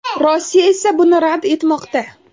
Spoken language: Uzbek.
Rossiya esa buni rad etmoqda.